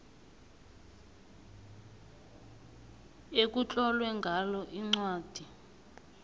ekutlolwe ngalo incwadi